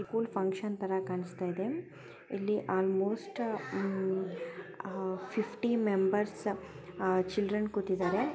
School function ತರ ಕಾಣಸ್ತಾ ಇದೆ ಇಲ್ಲಿ ಅಲ್ಮೊಸ್ಟ್ ಆ-ಫಿಫ್ಟಿ ಮೆಂಬರ್ಸ್ ಚಿಲ್ಡ್ರೆನ್ಸ್ ಕೂತಿದಾರೆ.